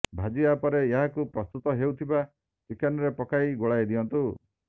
ଭାଜିବା ପରେ ଏହାକୁ ପ୍ରସ୍ତୁତ ହେଉଥିବା ଚିକେନରେ ପକାଇ ଗୋଳାଇ ଦିଅନ୍ତୁ